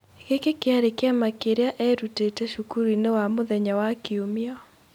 Gĩkĩ kĩarĩ kĩama kĩrĩa eerutĩte cukuru-inĩ wa mũthenya wa Kiumia.